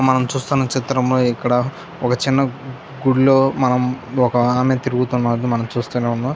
మనము చూస్తున్న చిత్రంలో ఇక్కడా ఒక చిన్న గుడ్లో మనం ఒక ఆమె తిరుగుతున్నట్టు చూస్తునే ఉన్నాం.